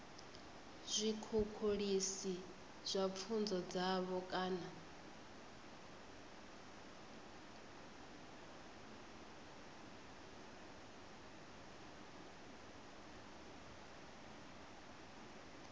zwikhukhulisi kha pfunzo dzavho kana